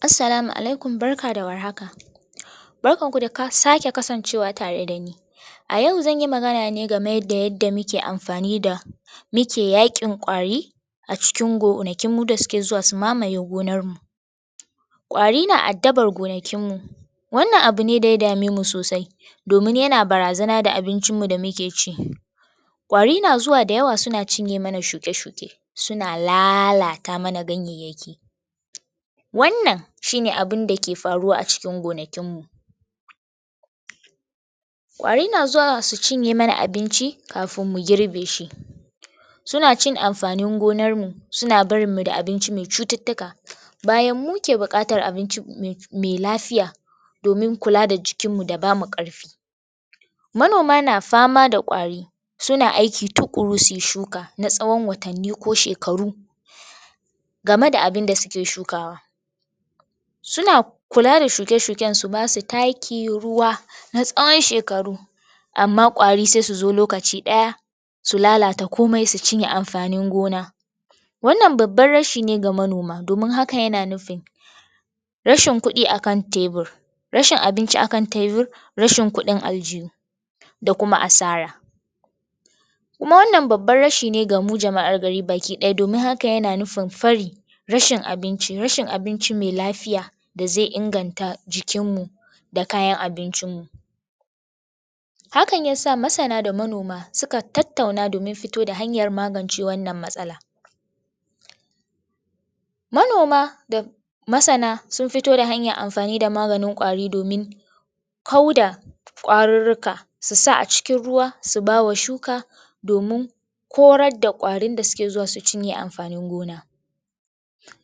Assalamu alaikum barka da warhaka barkan ku da sake kasancewa tare dani a yau zan yi magana ne game da yadda muke amfani da muke yaƙin ƙwari a cikin gonakin mu da suke zuwa su mamaye gonar mu ƙwari na addabar gonakin mu wannan abu ne da ya dame mu sosai domin yana barazana da abincin mu da muke ci ƙwari na zuwa da yawa suna cinye mana shuke-shuke suna lalata mana ganyeyyaki wannan shi ne abinda ke faruwa a cikin gonakin mu ƙwari na zuwa su cinye mana abinci kafin mu girbe shi suna cin amfanin gonar mu, suna barin mu da abinci me cututtuka bayan muke buƙatar abinci me lafiya domin kula da jikin mu da bamu ƙarfi manoma na fama da ƙwari suna aiki tuƙuru suyi shuka na tsawon watanni ko shekaru game da abinda suke shukawa suuna kula da shuke-shuken su basu taki, ruwa na tsawon shekaru amma ƙwari sai su zo lokaci ɗaya su lalata komai su cinye amfanin gona wannan babban rashi ne ga manoma domin hakan yana nufin rashin kuɗi akan tebir rashin abinci a kan tebir, rashin kuɗin aljihu da kuma asara kuma wannan babban rashi ga mu jama'ar gari bakiɗaya domin haka yana nufin fari rashin abinci, rashin abinci me lafiya da zai inganta jikin mu da kayan abincin mu hakan yasa masana da manoma suka tattauna domin fito da hanyar magance wannan matsala manoma da masana sun fito da hanyan amfani da maganin ƙwari domin kauda ƙwarurruka su sa a cikin ruwa su ba wa shuka domin korar da ƙwarin da suke zuwa su cinye amfanin gona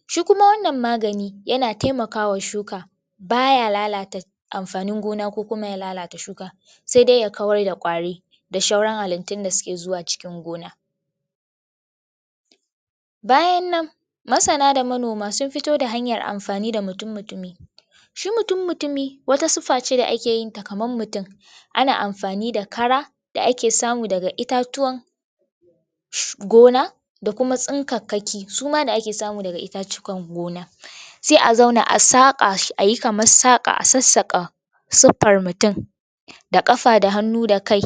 shi kuma wannan magani yana taimakawa shuka baya lalata amfanin gona ko kuma ya lalata shuka sai dai ya kawar da ƙwari da shauran halittun da suke cikin gona bayan nan masana da manoma sun fito da hanyar amfani da mutun mutumi shi mutun mutumi wata siffa ce da ake yi kaman mutun ana amfai da kara da ake samu daga itatuwan gona da kuma tsinkakkaki su ma da ake samu daga itatukan gona se a zauna a saƙa shi ayi kaman saƙa a sassaƙa siffar mutun da ƙafa, da hannu, da kai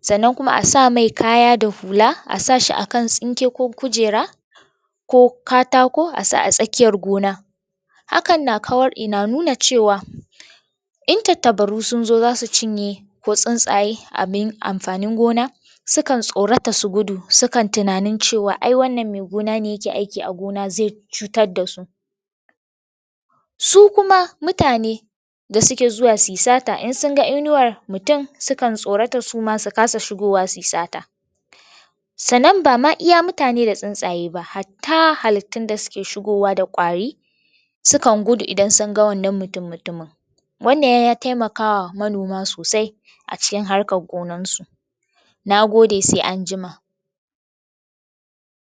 sannan kuma a sa mai kaya da hula a sa shi a kan tsinke ko kujera ko katako a sa a tsakiyar gona hakan na kawar na nuna cewa in tattabaru sun zo zasu cinye ko tsuntsaye abin amfanin gona su kan tsorata su gudu sukan tunanin cewa ai wannan me gona ne yake aiki a gona zai cutar da su su kuma mutane da suke zuwa su yi sata in sun ga inuwar mutun sukan tsorata suma su kasa shigowa su yi sata sannan ba ma iya mutane da tsutsaye ba hatta halittun da suke shigowa da ƙwari sukan gudu idan sun ga wannan mutun mutumin wannan ya taimakawa manoma sosai a cikin harkan gonan su na gode se anjima.